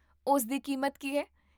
ਉਸ ਦੀ ਕੀਮਤ ਕੀ ਹੈ?